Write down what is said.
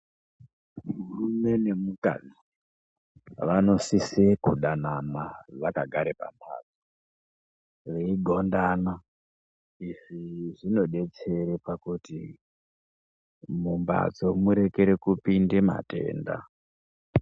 Murume ne mukadzi vanosise kudanana vaka gare pa mbatso vei gondana izvi zvino detsere pakuti mu mbatso murekere kupinde matenda.